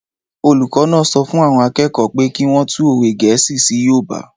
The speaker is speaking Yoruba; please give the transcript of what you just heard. Olùkọ́ náà sọ fún àwọn akẹ́kọ̀ọ́ pé kí wọ́n tú òwe gẹ̀ẹ́sì sí yoòbá